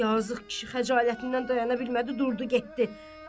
Yazıq kişi xəcalətindən dayana bilmədi, durdu getdi.